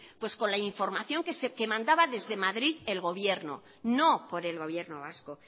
pues con la información que mandaba desde madrid el gobierno no por el gobierno vasco